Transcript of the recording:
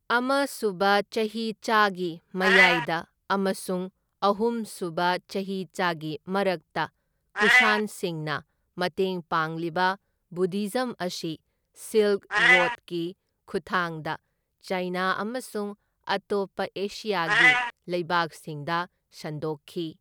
ꯑꯃ ꯁꯨꯕ ꯆꯍꯤꯆꯥꯒꯤ ꯃꯌꯥꯏꯗ ꯑꯃꯁꯨꯡ ꯑꯍꯨꯝ ꯁꯨꯕ ꯆꯍꯤꯆꯥꯒꯤ ꯃꯔꯛꯇ ꯀꯨꯁꯥꯟꯁꯤꯡꯅ ꯃꯇꯦꯡ ꯄꯥꯡꯂꯤꯕ ꯕꯨꯙꯤꯖꯝ ꯑꯁꯤ ꯁꯤꯜꯛ ꯔꯣꯗꯀꯤ ꯈꯨꯠꯊꯥꯡꯗ ꯆꯥꯏꯅ ꯑꯃꯁꯨꯡ ꯑꯇꯣꯞꯄ ꯑꯦꯁꯤꯌꯥꯒꯤ ꯂꯩꯕꯥꯛꯁꯤꯡꯗ ꯁꯟꯗꯣꯛꯈꯤ꯫